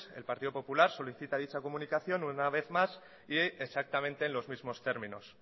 el partido popular solicita dicha comunicación una vez más y exactamente en los mismos términos